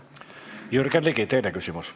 Jürgen Ligi, teine küsimus.